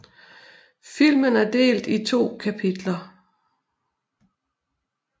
Filmen er delt i to kapitler